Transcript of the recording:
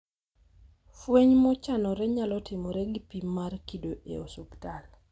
Fueny mochanore nyalo timore gi pim mar kido e osuptal